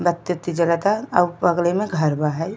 बत्ती उत्ती जलता औ बगले में घर बा हई।